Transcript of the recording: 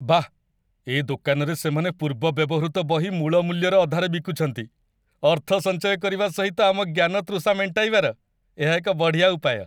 ବାଃ! ଏ ଦୋକାନରେ ସେମାନେ ପୂର୍ବ ବ୍ୟବହୃତ ବହି ମୂଳ ମୂଲ୍ୟର ଅଧାରେ ବିକୁଛନ୍ତି। ଅର୍ଥ ସଞ୍ଚୟ କରିବା ସହିତ ଆମ ଜ୍ଞାନ ତୃଷା ମେଣ୍ଟାଇବାର ଏହା ଏକ ବଢ଼ିଆ ଉପାୟ।